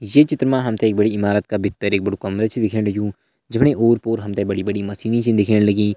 ये चित्र मा हम ते एक इमारत का भीतर एक बड़ु कमरा छ दिखेण लग्युं जफणी ओर पोर हम ते बड़ी बड़ी मशीनी छ दिखेण लगीं।